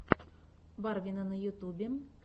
барвина на ютьюбе